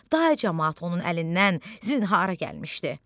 Dağ camaat onun əlindən zinhara gəlmişdi.